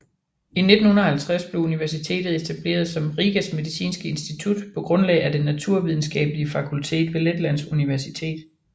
I 1950 blev universitetet etableret som Rigas Medicinske Institut på grundlag af Det Naturvidenskabelige Fakultet ved Letlands Universitet